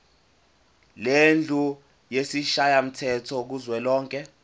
lendlu yesishayamthetho kuzwelonke